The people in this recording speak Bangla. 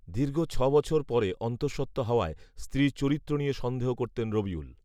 দীর্ঘ ছবছর পরে অন্তসঃত্ত্বা হওয়ায় স্ত্রীর চরিত্র নিয়ে সন্দেহ করতেন রবিউল